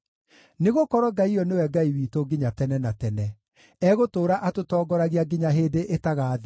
Nĩgũkorwo Ngai ũyũ nĩwe Ngai witũ nginya tene na tene; egũtũũra atũtongoragia nginya hĩndĩ ĩtagathira.